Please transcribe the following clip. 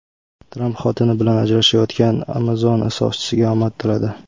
Tramp xotini bilan ajrashayotgan Amazon asoschisiga omad tiladi.